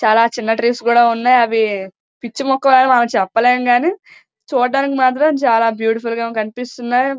చాలా చిన్న ట్రీస్ కూడా ఉన్నాయి అవి పిచ్చి మొక్కలు అని చెప్పలేము కానీ చూడడానికి మాత్రం చాల బ్యూటిఫుల్ గ కనిపిస్తున్నాయి.